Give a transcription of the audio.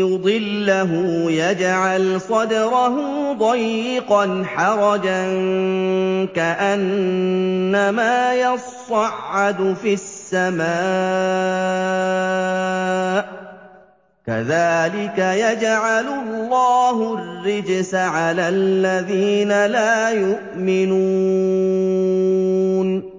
يُضِلَّهُ يَجْعَلْ صَدْرَهُ ضَيِّقًا حَرَجًا كَأَنَّمَا يَصَّعَّدُ فِي السَّمَاءِ ۚ كَذَٰلِكَ يَجْعَلُ اللَّهُ الرِّجْسَ عَلَى الَّذِينَ لَا يُؤْمِنُونَ